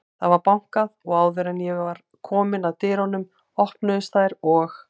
Það var bankað og áður en ég var komin að dyrunum, opnuðust þær og